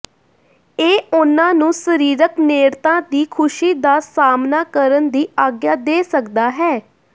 ਇਹ ਉਨ੍ਹਾਂ ਨੂੰ ਸਰੀਰਕ ਨੇੜਤਾ ਦੀ ਖੁਸ਼ੀ ਦਾ ਸਾਹਮਣਾ ਕਰਨ ਦੀ ਆਗਿਆ ਦੇ ਸਕਦਾ ਹੈ